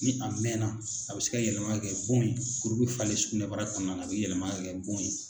Ni a mɛnna a bɛ se ka yɛlɛma ka kɛ bon ye kuru bɛ falen sugunɛbara kɔnɔna na a bɛ yɛlɛma ka kɛ bon ye.